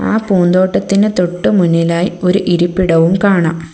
ആ പൂന്തോട്ടത്തിന് തൊട്ടുമുന്നിലായി ഒരു ഇരിപ്പിടവും കാണാം.